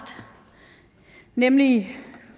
nemlig